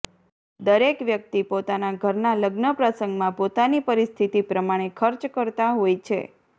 દરેક વ્યક્તિ પોતાના ઘરના લગ્ન પ્રસંગમાં પોતાની પરિસ્થિતિ પ્રમાણે ખર્ચ કરતા હોય છે